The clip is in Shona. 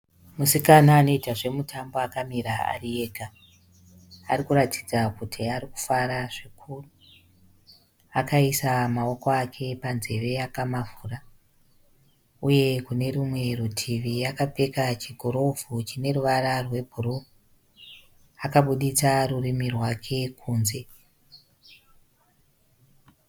Musikana anoita zvemutambo akamira ari ega. Arikuratidza kuti arikufara zvikuru. Akaisa maoko ake panzeve akamavhura. Uye kune rumwe rutivi kapfeka chigirovhu chine ruvara rwebhuruu. Akabuditsa rurimi rwake kunze.